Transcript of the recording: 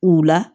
U la